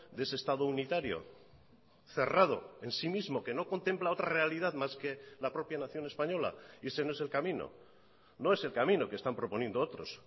de ese estado unitario cerrado en sí mismo que no contempla otra realidad más que la propia nación española y ese no es el camino no es el camino que están proponiendo otros